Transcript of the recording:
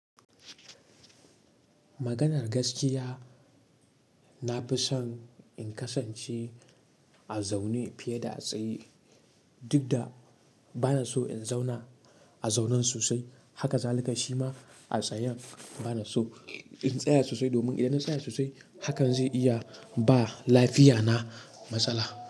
Maganar gaskiya, na fi son in kasance a zaune fiye da a tsaye. Duk da bana so in zauna a zaunan sosai. Haka zalika shima a tsayan bana so in tsaya sosai. Domin idan na tsaya sosai hakan zai iya ba lafiya na masala.